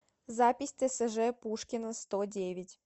запись тсж пушкина сто девять